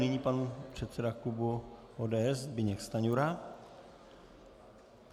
Nyní pan předseda klubu ODS Zbyněk Stanjura.